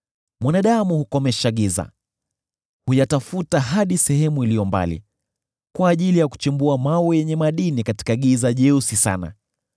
Mwanadamu hukomesha giza; huyatafuta hadi sehemu iliyo mbali, kwa ajili ya kuchimbua mawe yenye madini katika giza jeusi sana.